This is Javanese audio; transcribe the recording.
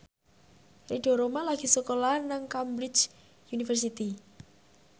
Ridho Roma lagi sekolah nang Cambridge University